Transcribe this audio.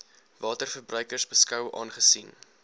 waterverbruikers beskou aangesien